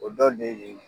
O dɔ de ye